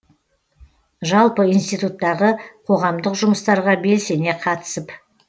жалпы институттағы қоғамдық жұмыстарға белсене қатысып